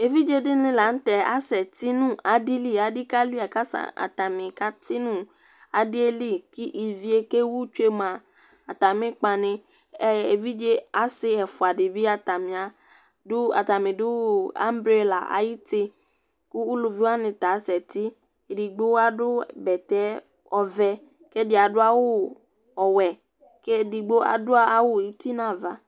eʋɩɗjeɗɩnɩ lanʊtɛ aƙasɛtɩnʊ aɗɩlɩ ƙʊ ɩʋɩe ƙewʊtsʊe atamɩƙpawanɩ ʊƴotsʊ ɛvʊa ɗɩnɩ azɛ ƙataƴa aƴʊtɩ mɛɛ elʊʋɩwanɩ aƙasɛtɩ eɗɩgɓo aɗʊ ʊgo ɔʋɛ, ɛɗɩaɗʊ awʊ ɔwɛ mɛɛ ɛɗɩta aɗʊ ʊlɔ eɗɩgɓolanʊ ʊtɩ ɗʊnʊ aʋa